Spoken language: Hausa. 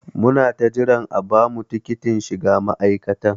Muna ta jiran a bamu tikitin shiga ma'aikatan.